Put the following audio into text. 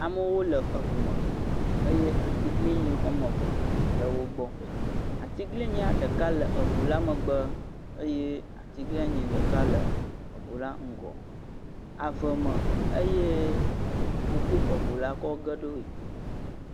Amewo le eŋume. Eye atiglinyi wome eve le wogbɔ. Atiglinyi ɖeka le eŋula megbe eye atiglinyi ɖeka le eŋula ŋgɔ. Aveme eye wokɔ eŋula kɔ ge ɖoe.